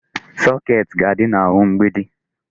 Socket ga-adị n'ahụ mgbidi.